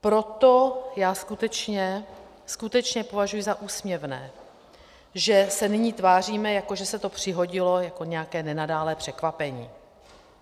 Proto já skutečně, skutečně považuji za úsměvné, že se nyní tváříme, jako že se to přihodilo jako nějaké nenadálé překvapení.